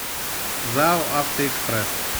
зао автоэкспресс